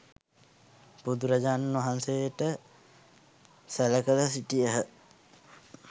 බුදුරජාණන් වහන්සේට සැළ කර සිටියහ.